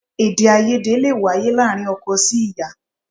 Èdè èdèàìyedè lè wáyé láàárín ọkọ sí ìyá